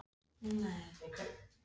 Guðmon, læstu útidyrunum.